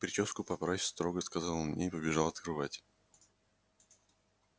причёску поправь строго сказал он мне и побежал открывать